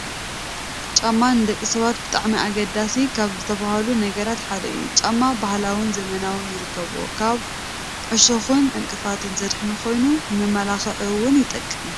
ጫማ ንደቂ ሰባት ብጣዕሚ ኣገደስቲ ካብ ዝባሃሉ ነገራት ሓደ እዩ፡፡ ጫማ ባህላውን ዘበናውን ይርከብዎ፣ ካብ ዕሾኽን ዕንቅፋትን ዘድሕን ኮይኑ ንመመላኽዒ ውን ይጠቅም፡፡